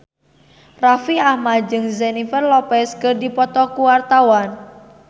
Raffi Ahmad jeung Jennifer Lopez keur dipoto ku wartawan